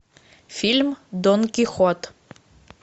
фильм дон кихот